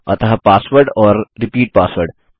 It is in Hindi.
अतः पासवर्ड और रिपीट पासवर्ड